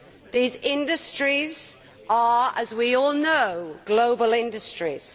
These industries are, as we all know, global industries.